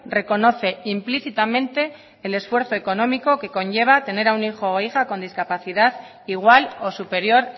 reconoce implícitamente el esfuerzo económico que conlleva tener un hijo o hija con discapacidad igual o superior